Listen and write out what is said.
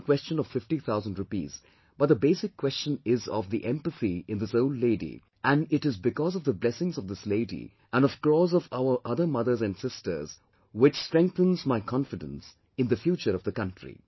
It is not a question of 50 thousand rupees but the basic question is of the empathy in this old lady and it is because of the blessings of this lady and of crores of our other mothers and sisters which strengthens my confidence in the future of the country